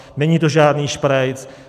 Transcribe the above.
Není to žádný šprajc.